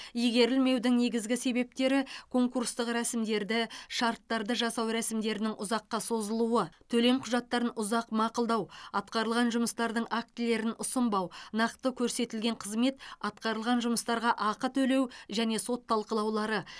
игерілмеудің негізгі себептері конкурстық рәсімдерді шарттарды жасау рәсімдерінің ұзаққа созылуы төлем құжаттарын ұзақ мақұлдау атқарылған жұмыстардың актілерін ұсынбау нақты көрсетілген қызмет атқарылған жұмыстарға ақы төлеу және сот талқылаулары